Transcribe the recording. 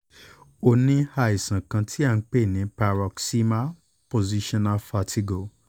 ó ní àìsàn kan tí a ń pè ní paroxysmal positional vertigo